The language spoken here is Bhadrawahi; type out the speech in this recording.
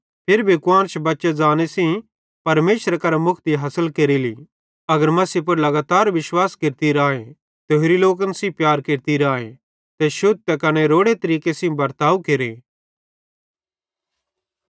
फिरी भी कुआन्श बच्चे ज़रमने सेइं परमेशरेरे करां मुक्ति हासिल केरेली अगर मसीह पुड़ लगातार विश्वास केरती राए ते होरि लोकन सेइं प्यार केरती राए ते शुद्ध त कने रोड़े तरीके सेइं बर्ताव केरे